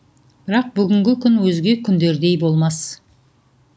бірақ бүгінгі күн өзге күндердей болмас